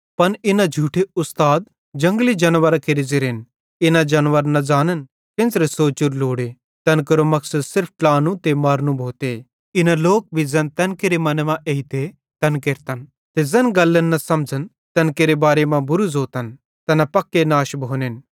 पन इना झूठे उस्ताद जंगली जानवरां केरे ज़ेरन इना जानवर न ज़ानन केन्च़रे सोचोरू लोड़े तैन केरो मकसद सिर्फ ट्लानू ते मारनू भोते इन लोक भी ज़ैन तैन केरे मने मां एइते तैन केरतन ते ज़ैन गल्लन न समझ़न तैन केरे बारे मां बुरू ज़ोतन तैना पक्के नाश भोनेन